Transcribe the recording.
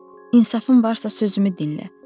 İnsafın varsa sözümü dinlə.